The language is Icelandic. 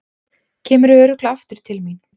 Kemurðu örugglega aftur til mín?